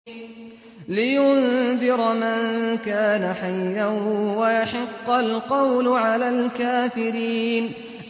لِّيُنذِرَ مَن كَانَ حَيًّا وَيَحِقَّ الْقَوْلُ عَلَى الْكَافِرِينَ